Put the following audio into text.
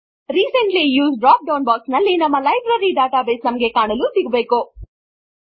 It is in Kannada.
recently used drop down box ನಲ್ಲಿ ನಮ್ಮ ಲೈಬ್ರರಿ ಡಾಟಾ ಬೇಸ್ ನಮಗೆ ಕಾಣಲು ಸಿಗಬೇಕು